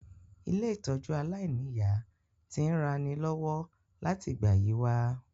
Ilé-ìtójú aláìniya ti n ranilọ́wọ́ láti ìgbà yi wa